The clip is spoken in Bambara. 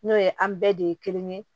N'o ye an bɛɛ de ye kelen ye